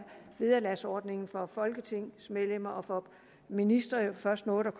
vederlagsordningen for folketingsmedlemmer og ministre jo først noget der